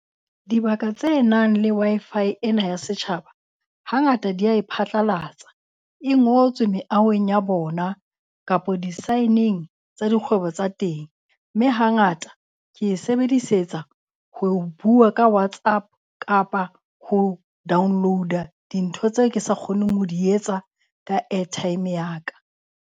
Dibaka tse nang le Wi-Fi ena ya setjhaba hangata dia e phatlalatsa, e ngotswe meahong ya bona, kapo di-sign-eng tsa dikgwebo tsa teng. Mme hangata ke e sebedisetsa ho bua ka WhatsApp kapa ho download-a dintho tseo ke sa kgoneng ho di etsa ka airtime ya ka.